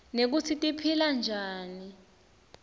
nekutsi tiphila njani